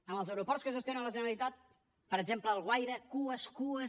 en els aeroports que gestiona la generalitat per exemple alguaire cues cues